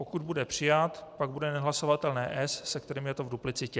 Pokud bude přijat, pak bude nehlasovatelné S, se kterým je to v duplicitě.